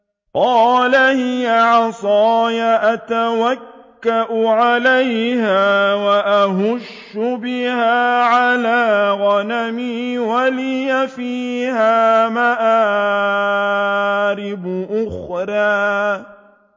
قَالَ هِيَ عَصَايَ أَتَوَكَّأُ عَلَيْهَا وَأَهُشُّ بِهَا عَلَىٰ غَنَمِي وَلِيَ فِيهَا مَآرِبُ أُخْرَىٰ